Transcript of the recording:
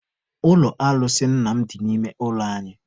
Ụlọ alụsị nna m dị n'ime ụlọ anyị.